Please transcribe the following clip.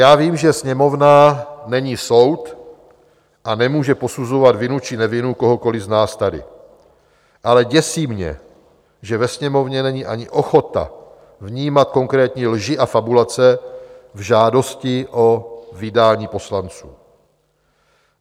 Já vím, že Sněmovna není soud a nemůže posuzovat vinu či nevinu kohokoliv z nás tady, ale děsí mě, že ve Sněmovně není ani ochota vnímat konkrétní lži a fabulace v žádosti o vydání poslanců.